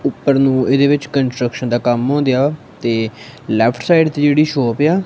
ਉੱਪਰ ਨੂੰ ਇਹਦੇ ਵਿੱਚ ਕੰਸਟ੍ਰਕਸ਼ਨ ਦਾ ਕੰਮ ਹੋ ਗਿਆ ਤੇ ਲੇਫ਼ਟ ਸਾਈਡ ਤੇ ਜਿਹੜੀ ਸ਼ੌਪ ਏ ਆ--